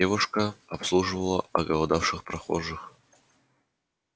девушка обслуживала оголодавших прохожих